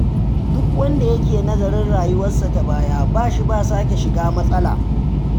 Duk wanda yake nazari kan rayuwarsa ta baya, ba shi ba sake shiga matsala.